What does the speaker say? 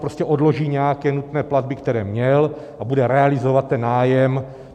Prostě odloží nějaké nutné platby, které měl, a bude realizovat ten nájem.